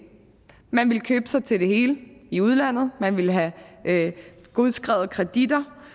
man ville købe sig til det hele i udlandet man ville have godskrevet kreditter